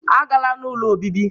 Agala n'ụlọ obibi!